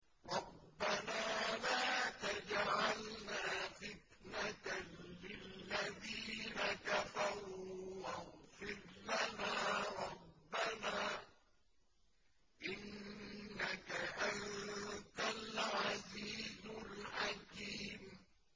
رَبَّنَا لَا تَجْعَلْنَا فِتْنَةً لِّلَّذِينَ كَفَرُوا وَاغْفِرْ لَنَا رَبَّنَا ۖ إِنَّكَ أَنتَ الْعَزِيزُ الْحَكِيمُ